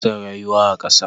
Kifi ba sa rayuwa a ƙasa.